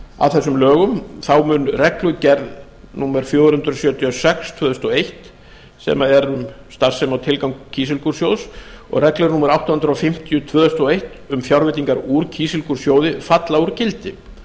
að þessum lögum munu reglugerð númer fjögur hundruð sjötíu og sex tvö þúsund og eitt sem er um starfsemi og tilgang kísilgúrsjóðs og reglur númer átta hundruð fimmtíu tvö þúsund og eitt um fjárveitingar úr kísilgúrsjóði falla úr gildi